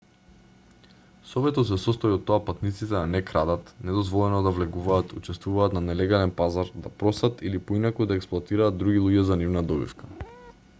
советот се состои од тоа патниците да не крадат недозволено да влегуваат учествуваат на нелегален пазар да просат или поинаку да експлоатираат други луѓе за нивна добивка